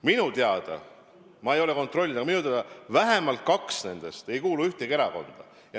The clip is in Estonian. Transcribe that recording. Minu teada, ma ei ole kontrollinud, aga minu teada vähemalt kaks nendest ei kuulu ühtegi erakonda.